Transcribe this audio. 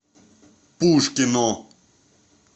пушкино